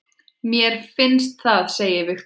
Mér finnst það segir Viktor.